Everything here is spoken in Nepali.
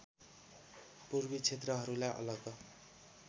पूर्वी क्षेत्रहरूलाई अलग